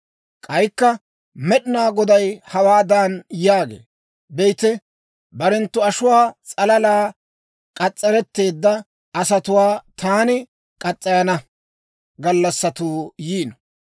K'aykka Med'inaa Goday hawaadan yaagee; «Be'ite, barenttu ashuwaa s'alala k'as's'aretteedda asatuwaa taani murana gallassatuu yiino.